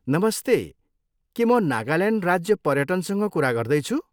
नमस्ते! के म नागाल्यान्ड राज्य पर्यटनसँग कुरा गर्दैछु?